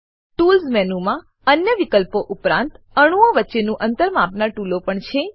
tools મેનુમાં અન્ય વિકલ્પો ઉપરાંત અણુઓ વચ્ચેનું અંતર માપનાર ટૂલો પણ છે